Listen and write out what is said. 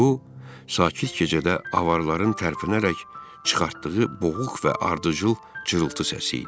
Bu sakit gecədə avaların tərpənərək çıxartdığı boğuq və ardıcıl cırıltı səsi idi.